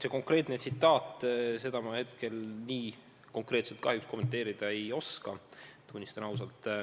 Seda konkreetset tsitaati ma hetkel kahjuks kommenteerida ei oska, tunnistan ausalt.